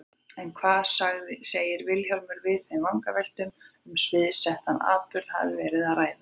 En hvað segir Vilhjálmur við þeim vangaveltum að um sviðsettan atburð hafi verið að ræða?